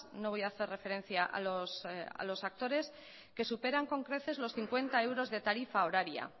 no voy a hacer referencia a los actores que superan con creces los cincuenta euros de tarifa horaria